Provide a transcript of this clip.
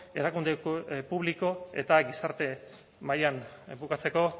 erakunde publiko eta gizarte mailan bukatzeko